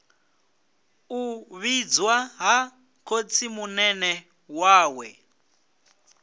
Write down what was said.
u vhidzwa ha khotsimunene wawe